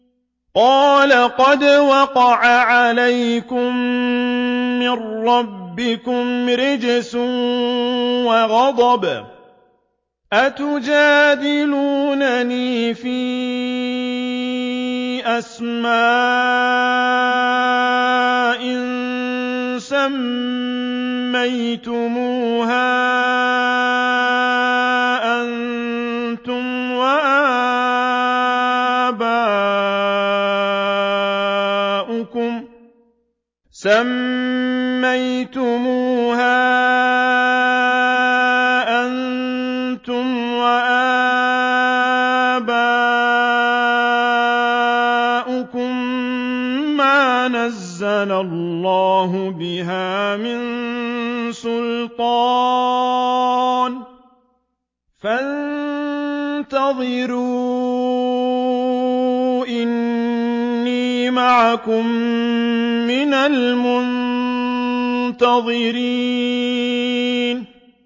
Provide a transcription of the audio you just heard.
قَالَ قَدْ وَقَعَ عَلَيْكُم مِّن رَّبِّكُمْ رِجْسٌ وَغَضَبٌ ۖ أَتُجَادِلُونَنِي فِي أَسْمَاءٍ سَمَّيْتُمُوهَا أَنتُمْ وَآبَاؤُكُم مَّا نَزَّلَ اللَّهُ بِهَا مِن سُلْطَانٍ ۚ فَانتَظِرُوا إِنِّي مَعَكُم مِّنَ الْمُنتَظِرِينَ